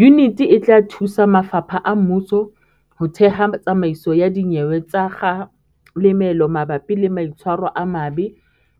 Yuniti e tla thusa mafapha a mmuso ho theha tsamaiso ya dinyewe tsa kga lemelo mabapi le maitshwaro a mabe